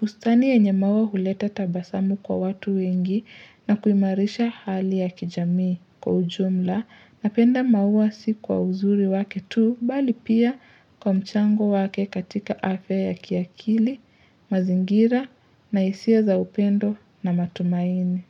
Bustani yenye maua huleta tabasamu kwa watu wengi na kuimarisha hali ya kijamii. Kwa ujumla, napenda maua si kwa uzuri wake tu, bali pia kwa mchango wake katika afya kiakili, mazingira, na hisia za upendo na matumaini.